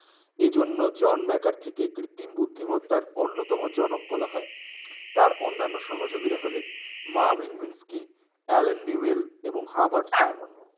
এই জন্য John McCarthy কে কৃতিম বুদ্ধিমত্তার অন্যতম জনক বলা হয় তার অন্যানো সহযোগীরা হলেন মা ভিন মিমষ্টি আলোন নিবেল এবং হাবাট ফাইমোন